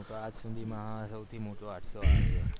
આજ સુધી માં સૌથી મોટો હાદસો આછે